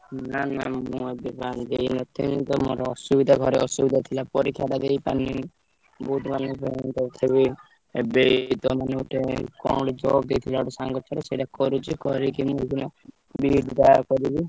ନା ନା ମୁଁ ଏବେ ମତେ ହିଁ ଆମର ଘରେ ଅସୁବିଧା ଥିଲା ପରିକ୍ଷାଟା ଦେଇପାରିଲିନୀ। ବହୁତ୍ ମାନେ ତଥାପି ଏବେ ଏଇତ ମାନେ କଣ ଗୋଟେ job ଦେଇଥିଲା ଗୋଟେ ସାଙ୍ଗ ସେଇଟା କରୁଚି କରିକି ମୁଁ ଏଇଖିନା B.Ed ଟା କରିବି।